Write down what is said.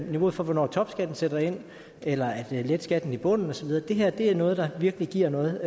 niveauet for hvornår topskatten sætter ind eller at lette skatten i bunden og så videre det her er noget der virkelig giver noget